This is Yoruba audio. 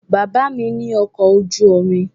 Bàbá mi ní ọkọ̀ ojú omi